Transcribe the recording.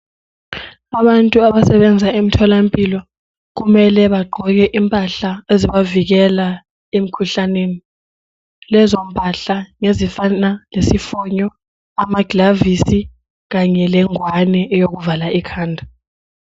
Abantu abasebenza emtholampilo kumele bagqoke impahla ezibavikela emkhuhlaneni, lezo mpahla ngezifana lesifonyo, amaglavisi kanye le ngwane eyokuvala ikhanda.